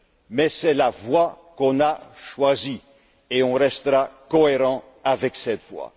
Mais c'est la voie qu'on a choisie et on restera cohérent avec cette voie.